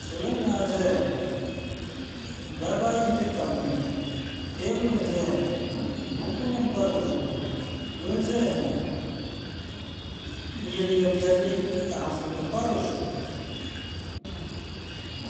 salo n laɣim zaya ŋɔ dabba ayi n ti tab nuhi ŋɔ teebuli n zaya ŋɔ bukunim n pa di zuɣu ŋɔ doo n zaya ŋɔ n ye liga piɛli ka anfooni pa dizuɣu.